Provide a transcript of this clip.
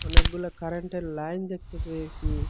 অনেকগুলা কারেন্টের লাইন দেখতে পেয়েসি।